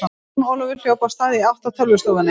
Jón Ólafur hljóp af stað í átt að tölvustofunni.